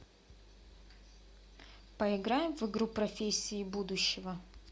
поиграем в игру профессии будущего